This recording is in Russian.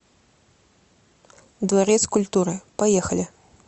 дворец культуры поехали